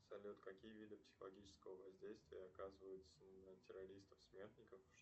салют какие виды психологического воздействия оказываются на террористов смертников